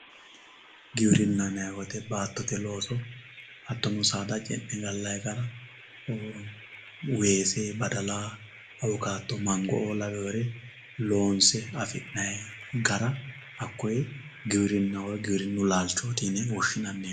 Giwirinaho yinani woyite saadate hatono baatote losine galayi weese badala awukato loosine afinani gara hakoweoy giwirinaho yinani giwirinu laalchoti yine woshinani